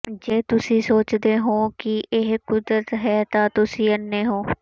ਜੇ ਤੁਸੀਂ ਸੋਚਦੇ ਹੋ ਕਿ ਇਹ ਕੁਦਰਤੀ ਹੈ ਤਾਂ ਤੁਸੀਂ ਅੰਨ੍ਹੇ ਹੋ